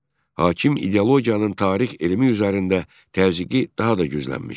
Hakim ideologiyanın tarix elmi üzərində təzyiqi daha da güclənmişdi.